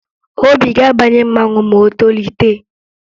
Obi ga-abanye mmanwụ ma o tolite